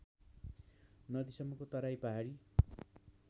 नदीसम्मको तराई पहाडी